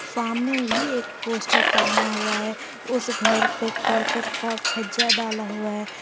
सामने भी एक पोस्टर टांगा हुआ है उस घर पे करकट का छज्जा डाला हुआ है।